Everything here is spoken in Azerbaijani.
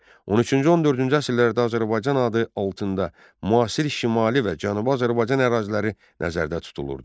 13-cü 14-cü əsrlərdə Azərbaycan adı altında müasir Şimali və Cənubi Azərbaycan əraziləri nəzərdə tutulurdu.